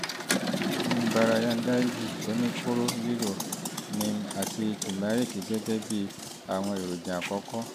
nimbarajanyadi oníkóró lílo neem àti tùmẹ́ríìkì gẹ́gẹ́ bí àwọn èròjà àkọ́kọ́